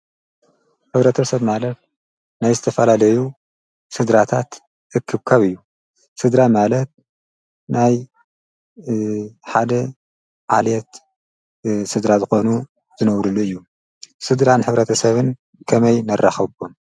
ሕብረተሰብ ማለት ናይ ዝተፋላለዩ ስድራታት እክብካብ እዩ፡፡ ስድራ ማለት ናይ ሓደ ዓሌት ስድራ ዝኮኑ ዝነብርሉ እዩ፡፡ ስድራን ሕብረተሰብን ከመይ ነራክቦም?